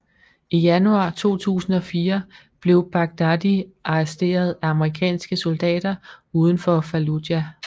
I januar 2004 blev Baghdadi arresteret af amerikanske soldater uden for Fallujah